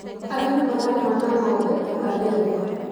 Arĩmi mararĩma na ng'ombe/ndegwa